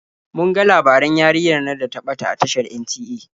Mun ga labaran yarinyar nan da ta ɓata a tashar NTA.